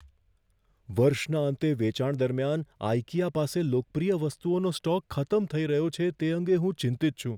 વર્ષના અંતે વેચાણ દરમિયાન આઇકિયા પાસે લોકપ્રિય વસ્તુઓનો સ્ટોક ખતમ થઈ રહ્યો છે તે અંગે હું ચિંતિત છું.